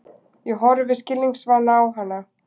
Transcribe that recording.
Ég horfi skilningsvana á hana.